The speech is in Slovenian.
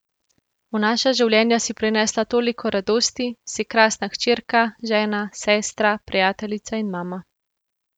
V naša življenja si prinesla toliko radosti, si krasna hčerka, žena, sestra, prijateljica in mama.